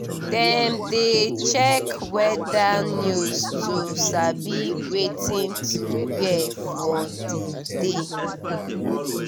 dem dey check weather news to sabi wetin to wear for the day.